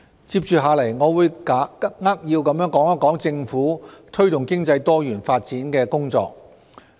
接着下來，我將扼要地說一說政府推動經濟多元發展的工作。